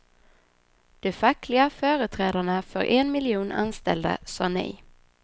De fackliga företrädarna för en miljon anställda sa nej.